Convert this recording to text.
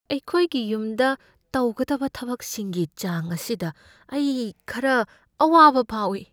ꯑꯩꯈꯣꯏꯒꯤ ꯌꯨꯝꯗ ꯇꯧꯒꯗꯕ ꯊꯕꯛꯁꯤꯡꯒꯤ ꯆꯥꯡ ꯑꯁꯤꯗ ꯑꯩ ꯈꯔ ꯑꯋꯥꯕ ꯐꯥꯎꯏ ꯫